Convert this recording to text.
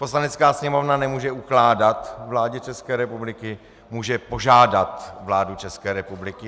Poslanecká sněmovna nemůže ukládat vládě České republiky, může požádat vládu České republiky.